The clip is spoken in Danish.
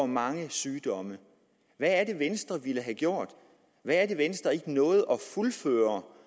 mange sygdomme hvad er det venstre ville have gjort hvad er det venstre ikke nåede at fuldføre